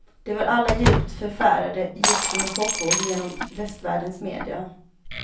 De var alla djupt förfärande, gick som en chockvåg genom västvärldens media.